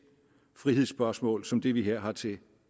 frihedsspørgsmål som det vi her har til